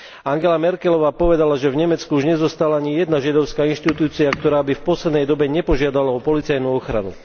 Angela Merkelová povedala, že v Nemecku už nezostala ani jedna židovská inštitúcia, ktorá by v poslednej dobe nepožiadala o policajnú ochranu.